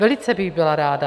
Velice bych byla ráda.